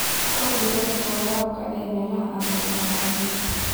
Kordhi heerka waraabka ee meelaha aan roobka lahayn.